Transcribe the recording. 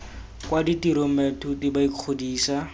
kwa ditirong baithuti ba ikgodisa